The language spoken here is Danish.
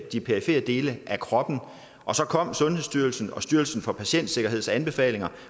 de perifere dele af kroppen og så kom sundhedsstyrelsens og styrelsen for patientsikkerheds anbefalinger